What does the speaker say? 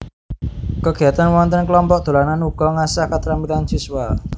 Kegiatan wonten kelompok dolanan uga ngasah ketrampilan siswa